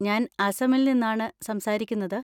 ഞാൻ അസമിൽ നിന്നാണ് സംസാരിക്കുന്നത്.